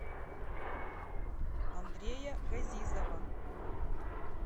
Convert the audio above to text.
андрея газизова